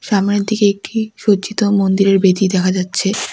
সামনের দিকে একটি সজ্জিত মন্দিরের বেদী দেখা যাচ্ছে।